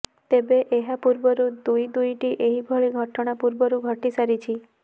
ତେବେ ଏହା ପୂର୍ବରରୁ ଦୁଇ ଦୁଇଟି ଏହି ଭଳି ଘଟଣା ପୂର୍ବରୁ ଘଟି ସାରିଛି